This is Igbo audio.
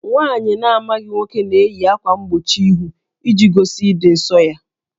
Nwaanyị na-amaghị nwoke na-eyi ákwà mgbochi íhù iji gosi ịdị ǹsọ́ ya